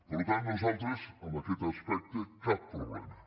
per tant nosaltres en aquest aspecte cap problema